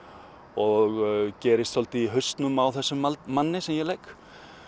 og gerist svolítið í hausnum á þessum manni sem ég leik